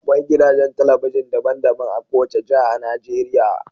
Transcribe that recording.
Akwai gidajen talabijin daban-daban a kowace jiha a Najeriya.